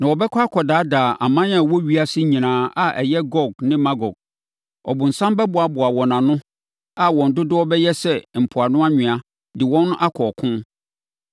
na ɔbɛkɔ akɔdaadaa aman a ɛwɔ ewiase nyinaa a ɛyɛ Gog ne Magog. Ɔbonsam bɛboaboa wɔn ano a wɔn dodoɔ bɛyɛ sɛ mpoano anwea de wɔn akɔ ɔko.